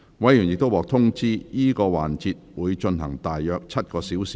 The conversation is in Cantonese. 委員已獲通知，這個環節會進行約7小時。